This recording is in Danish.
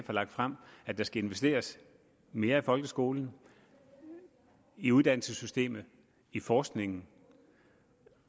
har lagt frem at der skal investeres mere i folkeskolen i uddannelsessystemet i forskningen